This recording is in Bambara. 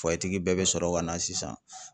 bɛɛ bɛ sɔrɔ ka na sisan